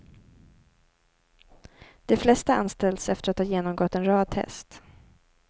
De flesta anställs efter att ha genomgått en rad test.